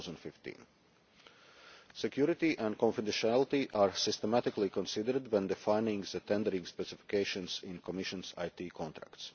July 2015. Security and confidentiality are systematically considered when defining the tendering specifications in the Commission's IT contracts.